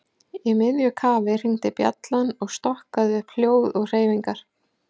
Í miðju kafi hringdi bjallan og stokkaði upp hljóð og hreyfingar.